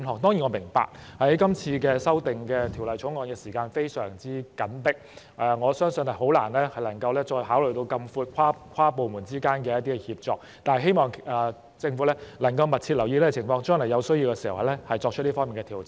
當然，我明白《條例草案》的時間表非常緊迫，我相信很難考慮範圍這麼闊的跨部門協作，但希望政府能夠密切留意這個情況，將來在有需要時作出這方面的調整。